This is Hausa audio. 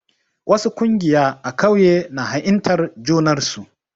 Wasu ƙungiya a ƙauye na ha'intar junar su.